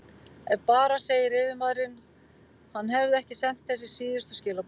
Ef bara segir yfirmaðurinn, hann hefði ekki sent þessi síðustu skilaboð.